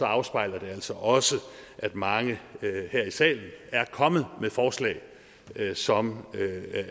afspejler det altså også at mange her i salen er kommet med forslag som